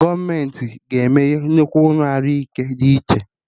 Gọọmenti ga emeye nnukwu ụlọ Ahụ ike dị iche